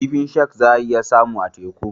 Kifin shak za a iya samunsa a teku.